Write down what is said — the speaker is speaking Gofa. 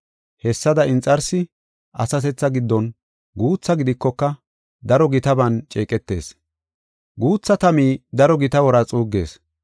Hessada inxarsi asatethaa giddon guutha gidikoka daro gitaban ceeqetees. Guutha tami daro gita wora xuuggees.